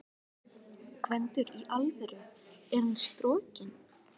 GVENDUR: Í alvöru: Er hann strokinn?